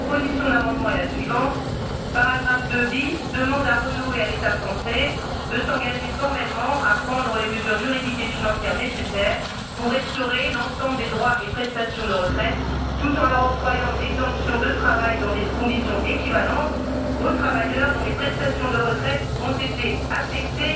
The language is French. La proposition d'amendement est la suivante Paragraphe 2 bis demande à Renault et à l'État français de s'engager formellement à prendre les mesures juridiques et financières nécessaires pour restaurer l'ensemble des droits et prestations de retraite, tout en leur octroyant une exemption de travail dans des conditions équivalentes, aux travailleurs dont les prestations de retraite ont été affectées